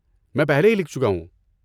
میں پہلے ہی لکھ چکا ہوں۔